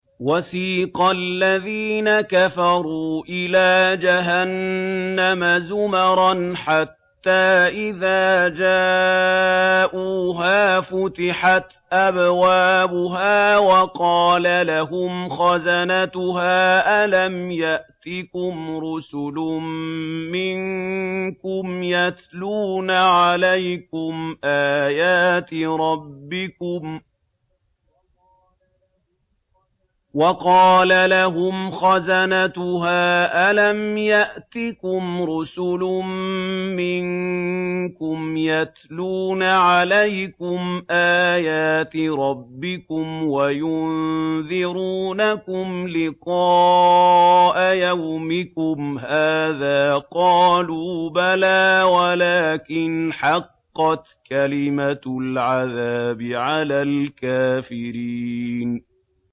وَسِيقَ الَّذِينَ كَفَرُوا إِلَىٰ جَهَنَّمَ زُمَرًا ۖ حَتَّىٰ إِذَا جَاءُوهَا فُتِحَتْ أَبْوَابُهَا وَقَالَ لَهُمْ خَزَنَتُهَا أَلَمْ يَأْتِكُمْ رُسُلٌ مِّنكُمْ يَتْلُونَ عَلَيْكُمْ آيَاتِ رَبِّكُمْ وَيُنذِرُونَكُمْ لِقَاءَ يَوْمِكُمْ هَٰذَا ۚ قَالُوا بَلَىٰ وَلَٰكِنْ حَقَّتْ كَلِمَةُ الْعَذَابِ عَلَى الْكَافِرِينَ